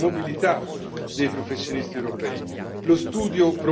e dalla scarsa mobilità dei professionisti europei.